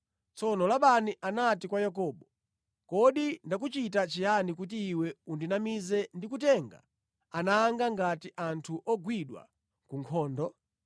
Tsono Labani anati kwa Yakobo, “Kodi ndakuchita chiyani kuti iwe undinamize ndi kutenga ana anga ngati anthu ogwidwa ku nkhondo?